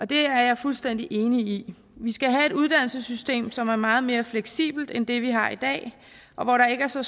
det er jeg fuldstændig enig i vi skal have et uddannelsessystem som er meget mere fleksibelt end det vi har i dag og hvor der ikke er så